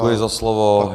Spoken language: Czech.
Děkuji za slovo.